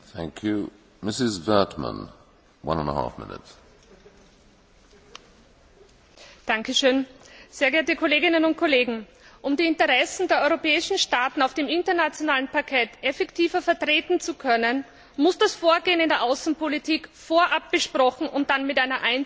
Herr Präsident, sehr geehrte Kolleginnen und Kollegen! Um die Interessen der europäischen Staaten auf dem internationalen Parkett effektiver vertreten zu können, muss das Vorgehen in der Außenpolitik vorab besprochen und dann mit einer einzigen Stimme nach außen kommuniziert werden.